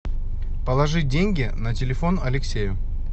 положить деньги на телефон алексею